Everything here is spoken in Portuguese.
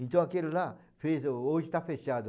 Então, aquilo lá, fez, hoje está fechado.